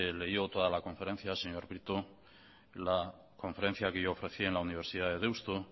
leyó toda la conferencia señor prieto la conferencia que yo ofrecí en la universidad de deusto